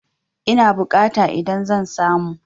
Ina bukata idan zan samu?